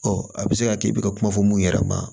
a bɛ se ka kɛ i bɛ ka kuma fɔ mun yɛrɛ ma